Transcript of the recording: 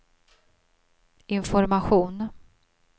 information